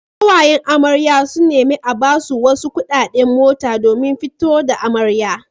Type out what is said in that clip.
Ƙawayen amaryar sun nemi a basu wasu kuɗaɗe mota domin fito da amaryar.